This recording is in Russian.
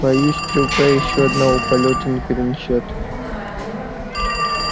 боюсь стрелка ещё одного полёта не перенесёт